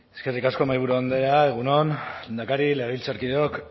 eskerrik asko mahaiburu andrea egun on lehendakari legebiltzarkideok